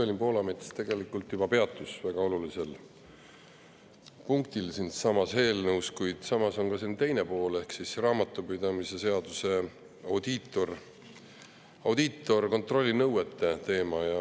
Evelin Poolamets tegelikult juba peatus väga olulisel punktil selles eelnõus, kuid samas on siin ka teine pool ehk raamatupidamise seaduses audiitorkontrolli nõuete teema.